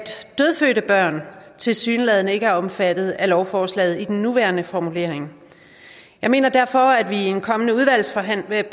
dødfødte børn tilsyneladende ikke er omfattet af lovforslaget i den nuværende formulering jeg mener derfor at vi i en kommende udvalgsbehandling